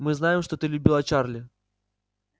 мы знаем что ты любила чарли